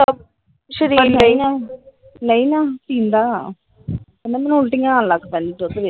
ਨਹੀਂ ਨਾ ਪੀਂਦਾ ਕਹਿੰਦਾ ਮੈਨੂੰ ਉਲਟੀਆਂ ਆਉਣ ਲੱਗ ਪੈਂਦੀਆਂ ਦੁੱਧ ਵੇਖ ਕੇ ।